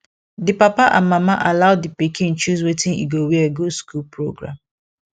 di papa and mama allow di pikin choose wetin e go wear go school program